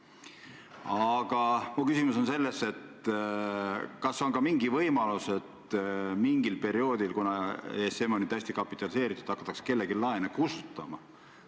Aga minu küsimus on, kas on ka mingi võimalus, et mingil perioodil, kuna ESM on nüüd täiesti kapitaliseeritud, hakatakse kellegi laene kustutama.